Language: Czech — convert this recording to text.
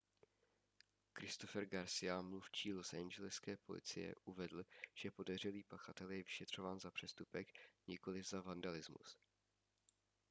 christopher garcia mluvčí losangeleské policie uvedl že podezřelý pachatel je vyšetřován za přestupek nikoliv za vandalismus